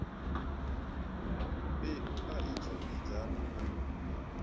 mbeu a i tshimbidzani na